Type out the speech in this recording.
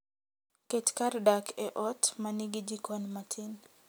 Ket kar dak e ot ma nigi jikon matin.